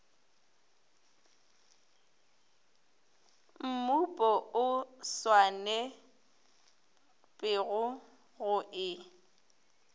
mmupo o swanetpego go e